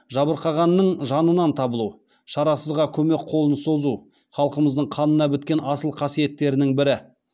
жабырқағанның жанынан табылу шарасызға көмек қолын созу халқымыздың қанына біткен асыл қасиеттерінің бірі